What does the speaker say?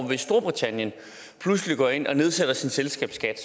hvis storbritannien pludselig går ind og nedsætter sin selskabsskat